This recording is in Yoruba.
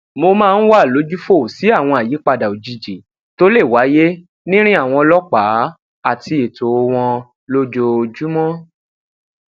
mo máa ń wà lójúfò sí àwọn àyípadà òjijì tó le wáyé nirin àwọn ọlópàá ati eto wọn lójoojúmó